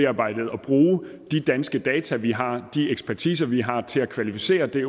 arbejdet og bruge de danske data vi har de ekspertiser vi har til at kvalificere det